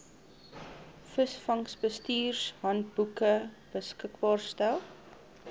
visvangsbestuurshandboeke beskikbaar stel